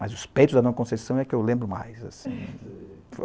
Mas os peitos da Dona Conceição é que eu lembro mais, assim.